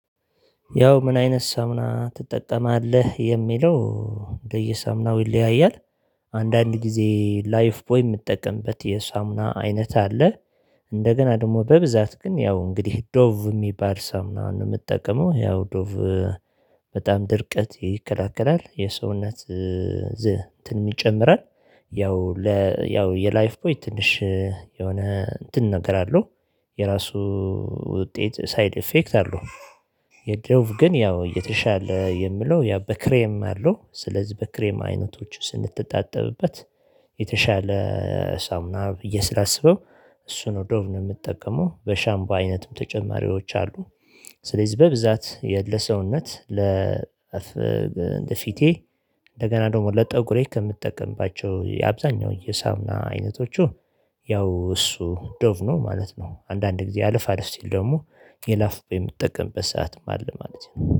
ያው ምን አይነት ሳሙና ትጠቀማለህ የሚለው እንደየሳሙናው ይለያያል። አንዳንድ ጊዜ ላይፍ ቦይ የምጠቀምበት የሳሙና አይነት አለ። እንደገና ደግሞ በብዛት ግን ያው እንግዲህ ዶቭ ሚባል ሳሙና ነው የምጠቀመው ያው ዶቭ በጣም ድርቀት ይከራከራል የሰውነት ዝንነትን ይጨምራል። ያው ለ ያው የላይፍ ቦይ ትንሽ የሆነ እንትን ነገር አለው የራሱ ውጤት ሳይድ ኢፌክት አለው። የዶቭ ግን ያው የተሻለ የምለው ያ በክሬም አለው ስለዚህ በክሬም አይነቶች ስንትጣጠብበትት የተሻለ ሳሙና ብዬ ስላስበው። እሱ ነው ዶቭ ነው የምጠቀመው በሻምቦ አይነትም ተጨማሪዎች አሉ። ስለዚህ በብዛት የለሰውነት ለፊቴ እንደገና ደግሞ ለጠጉሬ ከምትጠቀምባቸው የአብዛኛው የሳሙና አይነቶቹ ያው እሱ ዶቭ ነው ማለት ነው። አንዳንድ ጊዜ አለፍ አለፍ ሲል ደግሞ የላይፍ ቦይ የምጠቀምበትም ሰዓት አለ ማለት ነው